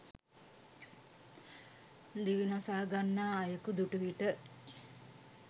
දිවි නසා ගන්නා අයෙකු දුටු විට